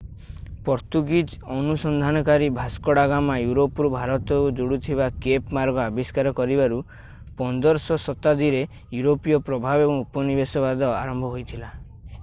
Portuguese ଅନୁସନ୍ଧାନକାରୀ Vasco da Gama ୟୁରୋପରୁ ଭାରତକୁ ଯୋଡୁଥିବା କେପ୍ ମାର୍ଗ ଆବିଷ୍କାର କରିବାରୁ 15ଶ ଶତାବ୍ଦୀରେ ୟୁରୋପୀୟ ପ୍ରଭାବ ଏବଂ ଉପନିବେଶବାଦ ଆରମ୍ଭ ହୋଇଥିଲା